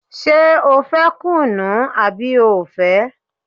Ṣé o fẹ́ kùnú àbí o ò fẹ́?